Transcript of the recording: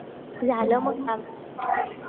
झालं मग काम?